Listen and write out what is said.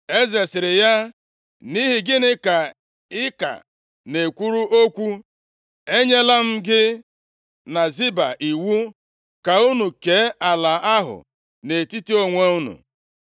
Eze sịrị ya, “Nʼihi gịnị ka ị ka na-ekwuru okwu? Enyela m gị na Ziba iwu ka unu kee ala ahụ nʼetiti onwe unu.”